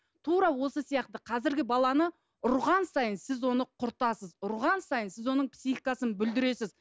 тура осы сияқты қазіргі баланы ұрған сайын сіз оны құртасыз ұрған сайын сіз оның психикасын бүлдіресіз